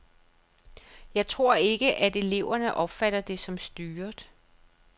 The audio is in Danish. Jeg tror ikke, at eleverne opfatter det som styret.